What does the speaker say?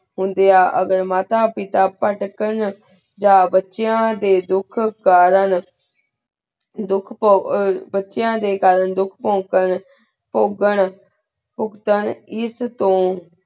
ਹੁੰਦਾ ਅਗ੍ਹਰ ਮਾਤਾ ਪੀਠਾ ਪੇਤ੍ਕਾਂ ਯਹ ਬੇਚੇਯਾਂ ਦੇਯਨ ਧੁਖ ਕਰੇਂ ਧੁਖ ਪੁ ਬੇਚੇਯਾਂ ਦੇਯਨ ਕਰੇਂ ਧੁਖ ਭੁਖ੍ਤੇੰ ਪੁਘਾਂ ਪੁਘ੍ਤੇੰ ਏਸ ਤੂੰ